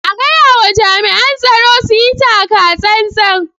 A gayawa jami'an tsaro su yi taka tsantsan.